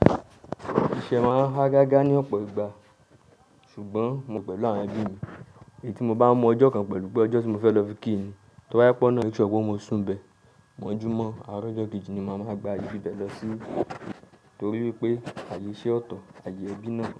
Ìṣe máa hágágá ní ọ̀pọ̀ ìgbà ṣùgbọ́n mo pẹ̀lú àwọn ẹbí mi. Èyí tí mo bá mọ ọjọ́ kan pẹ̀lú pé ọjọ́ tí mo fẹ́ lọ fi kí ni, tó wáyé pọ́n náà, ìṣù gbọ́ mo sùn bẹ. Mọ̀júmọ́ àárọ̀ ọjọ́ kejì ni màá máa gba ibíbẹ lọ sí, torí wípé àyè iṣé ọ̀tọ̀, àyè ẹbí náà.